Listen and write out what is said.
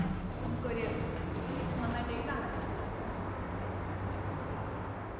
നമുക്കൊരു നന്നായിട്ട് എഴുതാൻ പറ്റാത്തത് ഒര് സുഖം കിട്ടാത്തത്